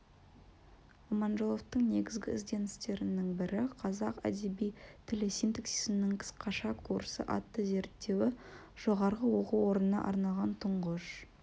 аманжоловтың негізгі ізденістерінің бірі қазақ әдеби тілі синтаксисінің қысқаша курсы атты зерттеуі жоғарғы оқу орнына арналған тұңғыш